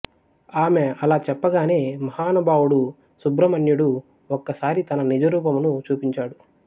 ఆమె అలా చెప్పగానే మహానుభావుడు సుబ్రహ్మణ్యుడు ఒక్కసారి తన నిజరూపమును చూపించాడు